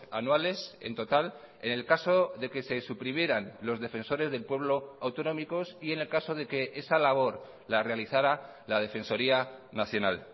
anuales en total en el caso de que se suprimieran los defensores del pueblo autonómicos y en el caso de que esa labor la realizará la defensoría nacional